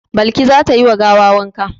Balki za ta yi wa gawa wanka.